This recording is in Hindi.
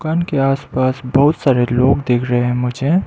आसपास बहुत सारे लोग देख रहे हैं मुझे।